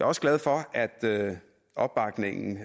også glad for at der er opbakning